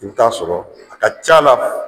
I bi t'a sɔrɔ a ka ca'la